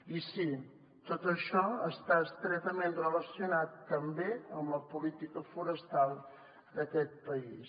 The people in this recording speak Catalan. i sí tot això està estretament relacionat també amb la política forestal d’aquest país